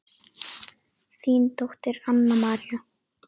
Þín dóttir Anna María.